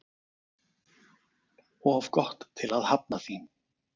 Of gott til að hafna því